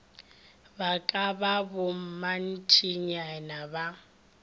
ba ka ba bommathinyane ba